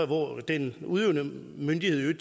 hvor den udøvende myndighed i